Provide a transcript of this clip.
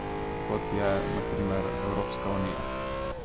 Kot je, na primer, Evropska unija.